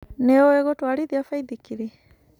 Nĩũĩ gũtwarithia baithikiri?